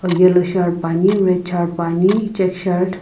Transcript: yellow shirt puani red shirt puani check shirt .